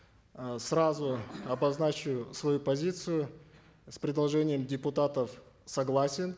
э сразу обозначу свою позицию с предложением депутатов согласен